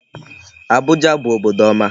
Abuja bụ obodo ọma.